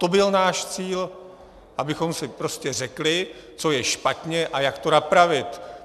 To byl náš cíl, abychom si prostě řekli, co je špatně a jak to napravit.